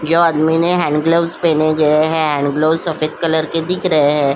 यह आदमी ने हैंड ग्लव्स पहने गए है। हैंड ग्लव्स सफेद कलर पर दिख रहे हैं।